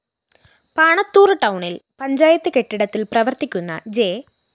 പാണത്തൂറ്‍ ടൌണില്‍ പഞ്ചായത്ത്‌ കെട്ടിടത്തില്‍ പ്രവര്‍ത്തിക്കുന്ന ജെ